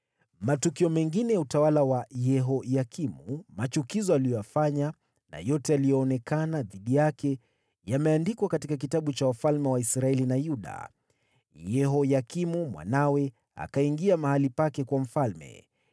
Matukio mengine ya utawala wa Yehoyakimu, machukizo aliyoyafanya na yote yaliyoonekana dhidi yake, yameandikwa katika kitabu cha wafalme wa Israeli na Yuda. Naye Yehoyakini mwanawe akawa mfalme baada yake.